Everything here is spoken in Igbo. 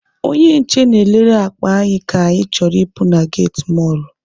Onye nche nelere akpa anyị ka anyị chọrọ ịpụ na geti mọlụ.